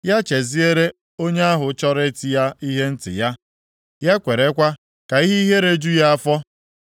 Ya cheziere onye ahụ chọrọ iti ya ihe ntị ya, ya kwerekwa ka ihe ihere ju ya afọ.